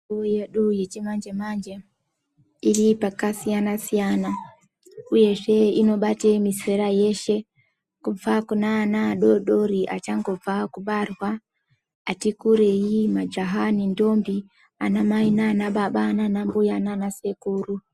Mitombo yedu yechimanje-manje. Iri pakasiyana-siyana, uyezve inobate mizera yeshe kubva kune ana adodori achangobva kubarwa , atikurei , majaha nendombi, ana mai nana baba nana mbuya nana sekuru.